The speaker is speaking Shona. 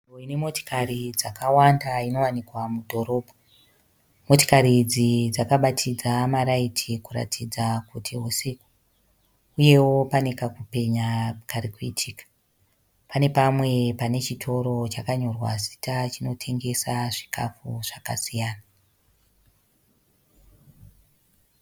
Nzvimbo ine motokari dzakawanda inowanikwa mudhoromba . Motikari idzi dzakabatidza maLights kuratidza kuti husiku uye pane kakupenya kari kuitika. Pane pamwe pane chitoro chakanyorwa zita chinotengesa zvikafu zvakasiyana.